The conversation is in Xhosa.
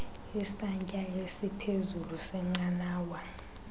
isantsya esiphezulu senqanawa